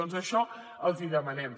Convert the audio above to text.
doncs això els ho demanem